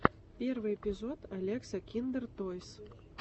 первый эпизод алекса киндертойс